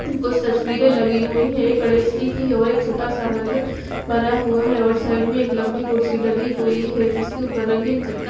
कुछ तस्वीरें लगी हुई है एक गणेश जी की और एक छोटा सा मंदिर बना हुआ है और साइड में एक लंबी कुर्सी डली हुई है जिसके ऊपर रंगीन चद्दर--